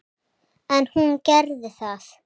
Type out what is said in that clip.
En hún gerði það.